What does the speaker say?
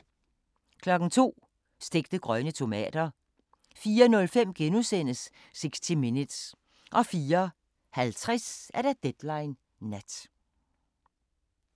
02:00: Stegte grønne tomater 04:05: 60 Minutes * 04:50: Deadline Nat